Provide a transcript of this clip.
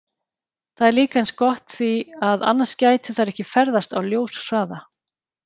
Það er líka eins gott því að annars gætu þær ekki ferðast á ljóshraða!